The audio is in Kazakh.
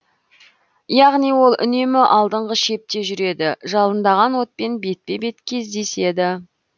яғни ол үнемі алдыңғы шепте жүреді жалындаған отпен бетпе бет кездеседі